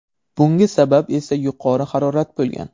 Bunga sabab esa yuqori harorat bo‘lgan.